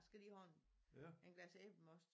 Skal lige have en en glas æblemost